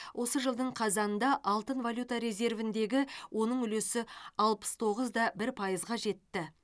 осы жылдың қазанында алтын валюта резервіндегі оның үлесі алпыс тоғыз да бір пайызға жетті